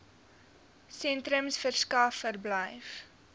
sentrums verskaf verblyf